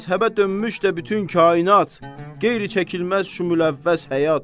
Məzhəbə dönmüş də bütün kainat qeyri-çəkilməz şümüləvvəz həyat.